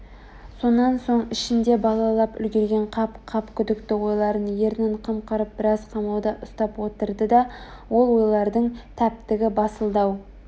сонан соң ішінде балалап үлгірген қап-қап күдікті ойларын ернін қымқырып біраз қамауда ұстап отырды да ол ойлардың тәптігі басылды-ау